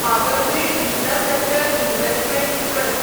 power grid infrastructure investment trust